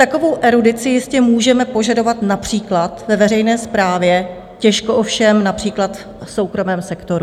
Takovou erudici jistě můžeme požadovat například ve veřejné správě, těžko ovšem například v soukromém sektoru.